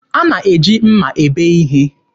A na-eji mma ebe ihe.